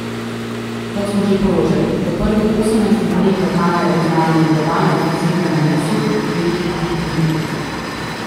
Kot smo že poročali, v prvih osemnajstih dneh lokalne, regionalne in globalne ofenzive na Mosul velikih bitk ni bilo.